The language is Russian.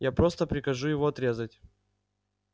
я просто прикажу его отрезать